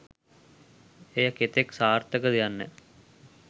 එය කෙතෙක් සාර්ථකද යන්න